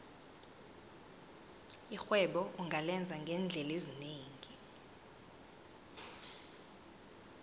irhwebo ungalenza ngeendlela ezinengi